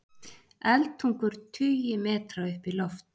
Eldtungur tugi metra upp í loft